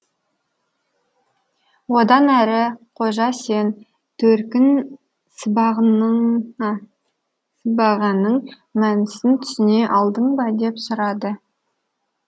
одан әрі қожа сен төркін сыбағаның сыбағаның мәнісін түсіне алдың ба деп сұрады